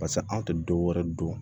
Paseke an tɛ dɔwɛrɛ don